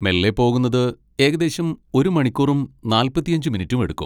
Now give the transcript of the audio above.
മെല്ലെ പോകുന്നത് ഏകദേശം ഒരു മണിക്കൂറും നാൽപ്പത്തിയഞ്ച് മിനിറ്റും എടുക്കും.